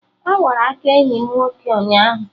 Awara aka enyi m nwoke ụnyaahụ